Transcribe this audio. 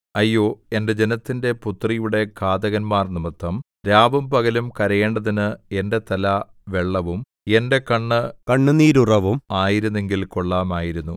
അയ്യോ എന്റെ ജനത്തിന്റെ പുത്രിയുടെ ഘാതകന്മാർനിമിത്തം രാവും പകലും കരയേണ്ടതിന് എന്റെ തല വെള്ളവും എന്റെ കണ്ണ് കണ്ണുനീരുറവും ആയിരുന്നെങ്കിൽ കൊള്ളാമായിരുന്നു